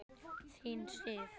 Þín Sif.